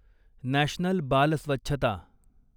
national बाल स्वच्छता